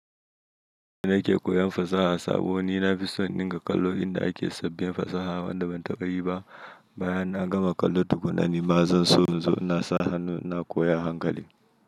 Ni nake koyan fasaha saboda nina fison ninga kallo inda ake sabbin fasaha wanda ban taɓa yi ba. Bayan na gama kallo tukunna nima zan so in zo na sa hannu na koya a hankali.